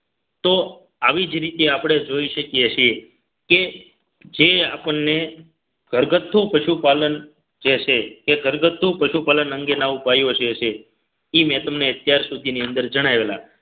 તો આવી જ રીતે આપણે જોઈ શકીએ છીએ કે જે આપણને ઘરગથ્થુ પશુપાલન જે છે તે ઘરગથ્થુ પશુપાલન અંગેના ઉપાયો છે એ મેં તમને અત્યાર સુધીની અંદર જણાવેલા